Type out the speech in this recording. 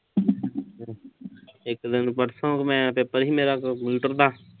ਇੱਕ ਦਿਨ ਪਰਸੋਂ ਮੈਂ, ਪੇਪਰ ਸੀ ਮੇਰਾ ਕੰਪਿਊਟਰ ਦਾ।